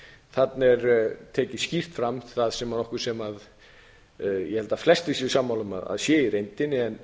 þarna er tekið skýrt fram það sem ég held að flestir séu sammála um að sé í reyndinni en